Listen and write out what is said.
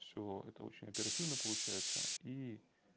всё это очень оперативно получается и